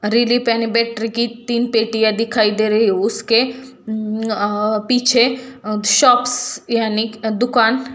तीन पेटियां दिखाई दे रही है उसके पीछे शॉप्स यानी की दुकान--